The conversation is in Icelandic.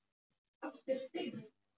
Þú stendur þig vel, Gael!